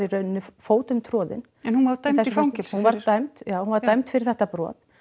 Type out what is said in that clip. þarna fótum troðin en hún var dæmd í fangelsi fyrir hún var dæmd já hún var dæmd fyrir þetta brot